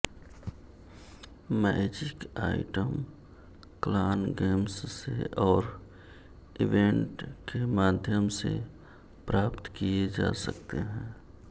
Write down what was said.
magic item clan games से और event के माध्यम से प्राप्त किए जा सकते हैं